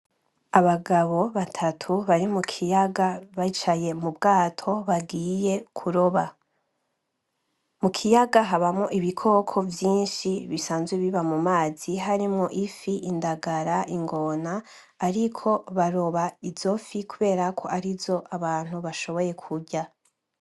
Abagabo batatu bari mu kiyaga bicaye mu bwato bagiye kuroba mu kiyaga habamwo ibikoko vyinshi bisanzwe biba mu mazi harimwo ifi, indagala, ingona ariko baroba izo fi kubera ko arizo abantu bashoboye kurya